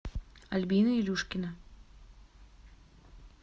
альбина илюшкина